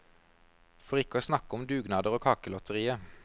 For ikke å snakke om dugnader og kakelotterier.